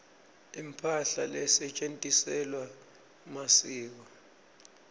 imphahla lesetjentisela masiko